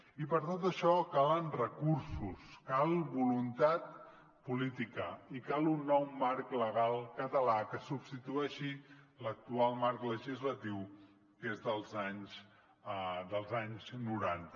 i per tot això calen recursos cal voluntat política i cal un nou marc legal català que substitueixi l’actual marc legislatiu que és dels anys noranta